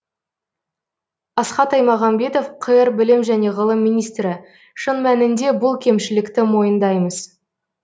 асхат аймағамбетов қр білім және ғылым министрі шын мәнінде бұл кемшілікті мойындаймыз